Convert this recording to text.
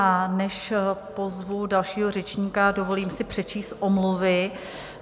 A než pozvu dalšího řečníka, dovolím si přečíst omluvy.